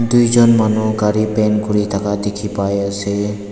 duijon manu gari paint kuri thaka dekhi pai asa.